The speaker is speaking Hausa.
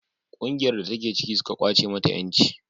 ƙungiyar da ta ke ciki suka kwace mata yanci